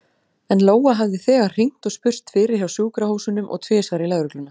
En Lóa hafði þegar hringt og spurst fyrir hjá sjúkrahúsunum og tvisvar í lögregluna.